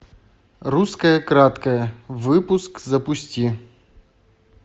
русское краткое выпуск запусти